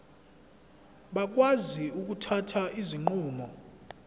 bakwazi ukuthatha izinqumo